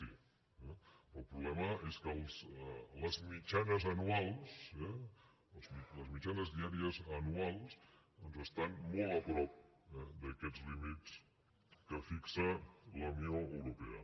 sí però el problema és que les mitjanes anuals les mitjanes diàries anuals estan molt a prop d’aquests límits que fixa la unió europea